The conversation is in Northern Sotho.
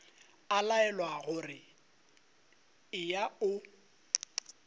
a laelwa gore eya o